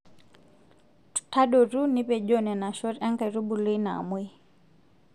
Tadotu nipejoo Nena shot enkaitubului naamuoi.